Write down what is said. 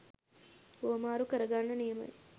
හුවමාරු කරගන්න නියමයි.